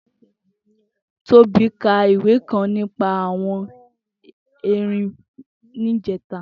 Tobi kà ìwé kãn nipà awọn ẹ́rìn nijẹ̀tá